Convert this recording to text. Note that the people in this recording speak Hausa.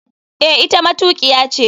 Eh, ita matukiya ce.